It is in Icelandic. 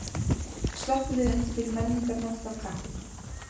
Slökkviliðið undirbýr menningarnótt af kappi